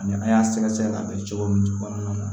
Ani a y'a sɛgɛsɛgɛ k'a bɛn cogo min kɔnɔna na